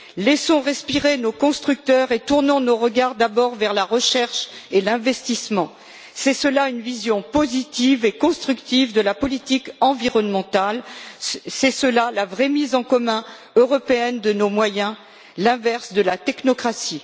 Laissons respirer nos constructeurs et tournons nos regards d'abord vers la recherche et l'investissement! C'est cela une vision positive et constructive de la politique environnementale, c'est cela la vraie mise en commun européenne de nos moyens, l'inverse de la technocratie.